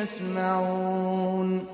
يَسْمَعُونَ